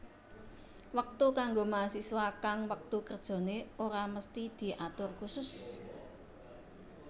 Wektu kanggo mahasiswa kang wektu kerjane ora mesthi diatur kusus